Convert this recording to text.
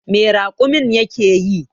Me raƙumin yake yi?